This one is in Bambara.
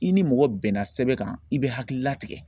I ni mɔgɔ bɛnna sɛbɛn kan i bɛ hakilila tigɛ.